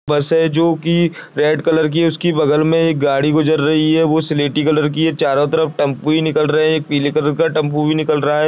बस हैं जो की रेड कलर की है उसकी बगल में एक गाड़ी गुजर रही है वह स्लेटी कलर की हैं चारों तरफ टेंपो ही निकल रहे हैं एक पीले कलर का टेंपो भी निकल रहा है।